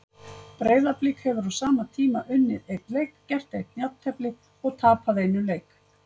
Breiðablik hefur á sama tíma unnið einn leik, gert eitt jafntefli og tapað einum leik.